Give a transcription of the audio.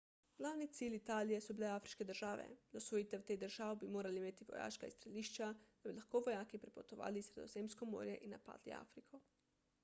glavni cilj italije so bile afriške države za osvojitev teh držav bi morali imeti vojaška izstrelišča da bi lahko vojaki prepotovali sredozemsko morje in napadli afriko